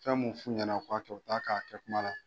Fɛnmu f'u ɲɛnɛ u k'a kɛ o t'a kɛ a kɛ kuma na.